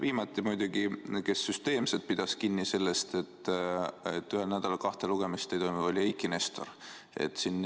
Viimati pidas süsteemselt sellest, et ühel nädalal kahte lugemist ei toimu, kinni Eiki Nestor.